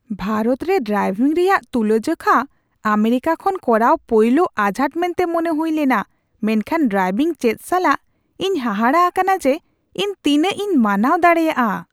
ᱵᱷᱟᱨᱚᱛ ᱨᱮ ᱰᱨᱟᱭᱵᱷᱤᱝ ᱨᱮᱭᱟᱜ ᱛᱩᱞᱟᱹᱡᱚᱠᱷᱟ ᱟᱢᱮᱨᱤᱠᱟ ᱠᱷᱚᱱ ᱠᱚᱨᱟᱣ ᱯᱳᱭᱞᱳ ᱟᱡᱷᱟᱴ ᱢᱮᱱᱛᱮ ᱢᱚᱱᱮ ᱦᱩᱭ ᱞᱮᱱᱟ, ᱢᱮᱱᱠᱷᱟᱱ ᱰᱨᱟᱭᱵᱷᱤᱝ ᱪᱮᱫ ᱥᱟᱞᱟᱜ, ᱤᱧ ᱦᱟᱦᱟᱲᱟᱜ ᱟᱠᱟᱱᱟ ᱡᱮ ᱤᱧ ᱛᱤᱱᱟᱹᱜ ᱤᱧ ᱢᱟᱱᱟᱣ ᱫᱟᱲᱮᱭᱟᱜᱼᱟ ᱾